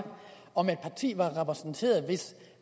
om et parti var repræsenteret hvis